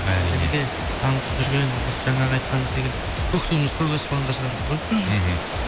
нұреке танытып жүрген осы жаңағы айтқан секілді көк туымызды көк аспанға шығарып жүр ғой мхм